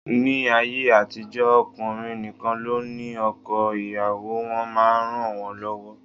Ni ayé àtijó, ọkùnrin nìkan ló ní oko, ìyàwó wọn máa ń ranwon lọwọ